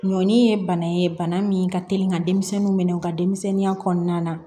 Ɲɔni ye bana ye bana min ka teli ka denmisɛnninw minɛ u ka denmisɛnninya kɔnɔna na